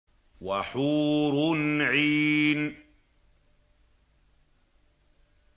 وَحُورٌ عِينٌ